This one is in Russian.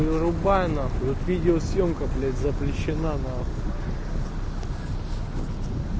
вырубай нахуй тут видеосъёмка запрещена нахуй